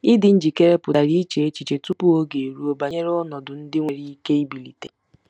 Ịdị njikere pụtara iche echiche tupu oge eruo banyere ọnọdụ ndị nwere ike ibilite.